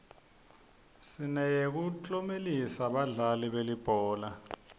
sineyekuklomelisa badlali belibhola